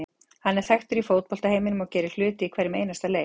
Hann er þekkur í fótbolta heiminum og gerir hluti í hverjum einasta leik.